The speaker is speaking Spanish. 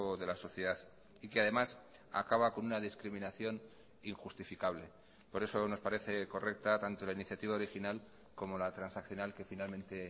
de la sociedad y que además acaba con una discriminación injustificable por eso nos parece correcta tanto la iniciativa original como la transaccional que finalmente